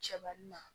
Cɛbalin na